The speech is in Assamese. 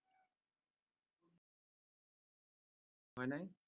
হয় নে?